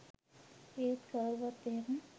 ඒත් කවුරත් එහෙම